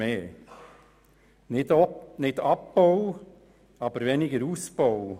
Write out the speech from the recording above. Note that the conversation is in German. Es geht nicht um einen Abbau, sondern um einen geringeren Ausbau.